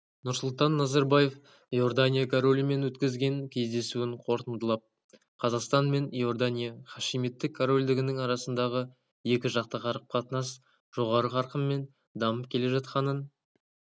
нұрсұлтан назарбаев иордания королімен өткізген кездесуін қорытындылап қазақстан мен иордания хашимиттік корольдігінің арасындағы екіжақты қарым-қатынас жоғары қарқынмен дамып келе жатқанын